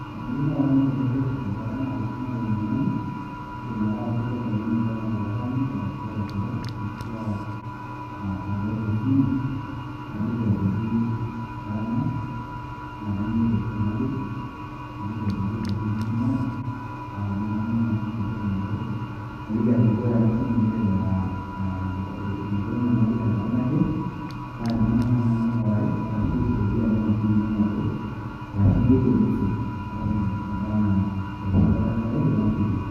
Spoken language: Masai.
Tenayieu naomonu eretoto enkata naara esimu ai enyamali, kaidim ake atabaiki oltung'ani oba enaa olataaniki arashu olnchere, ashu a olaata esimu, naliki ajoki kara ng'ae, na kanyioo ereteto nayieu. Naliki ajoki ketorrono esimu ai, pa tenaa kemana naisaidia matoosho. Naliki ajoki ore ena simu nelelek ah enoto enyamali tenkata naje, pa tenemana naa ning'urari, arashu aisaidia naa ina simu ente matoosho, arashu aigerie message enkata na erishata ore ake paidip nashukoki.